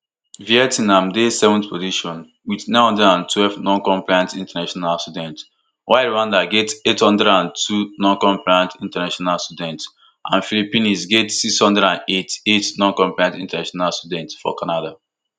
vietnam dey seventh position wit nine hundred and twelve noncompliant international students while rwanda get eight hundred and two noncompliant international students and philippines get six hundred and eighty-eight noncompliant international students for canada